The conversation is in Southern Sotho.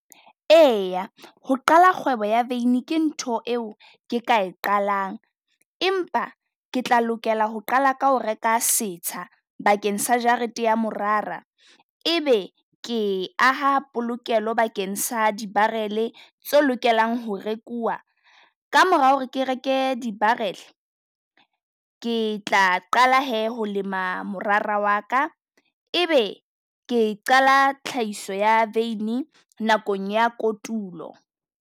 Eya, ho qala kgwebo ya veini ke ntho e o ke ka e qalang. Empa ke tla lokela ho qala ka ho reka setsha bakeng sa jarete ya morara. E be ke aha polokelo bakeng sa di barrel-e tse lokelang ho rekuwa. Ka mora ho re ke reke di barrel-e, ke tla qala he ho lema morara wa ka. E be ke qala tlhahiso ya veini nakong ya kotulo.